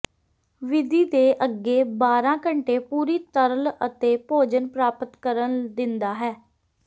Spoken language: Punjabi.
ਵਿਧੀ ਦੇ ਅੱਗੇ ਬਾਰ੍ਹਾ ਘੰਟੇ ਪੂਰੀ ਤਰਲ ਅਤੇ ਭੋਜਨ ਪ੍ਰਾਪਤ ਕਰਨ ਦਿੰਦਾ ਹੈ